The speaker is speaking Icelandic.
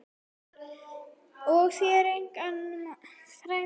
Og helst eiga frægan mann.